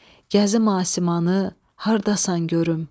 Gəzim asimanı, hardasan görüm.